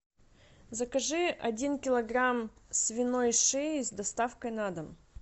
закажи один килограмм свиной шеи с доставкой на дом